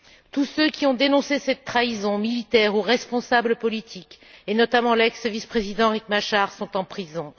Tous ceux qui ont dénoncé cette trahison, militaires ou responsables politiques, et notamment l'ex vice président Riek Machar, sont en prison.